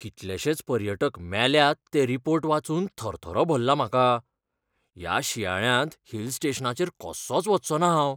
कितलेशेच पर्यटक मेल्यात ते रिपोर्ट वाचूनच थरथरो भल्ला म्हाका, ह्या शिंयाळ्यांत हिल स्टेशनाचेर कसोंच वच्चो ना हांव.